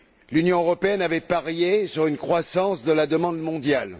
L'Union européenne avait parié sur une croissance de la demande mondiale.